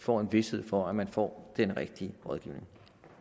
får en vished for at man får den rigtige rådgivning